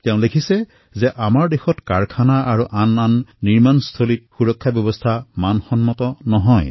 তেওঁ লিখিছে যে আমাৰ দেশৰ উদ্যোগ তথা নিৰ্মাণস্থলীত সুৰক্ষাৰ পৰিমাণ ইমান সঠিক নহয়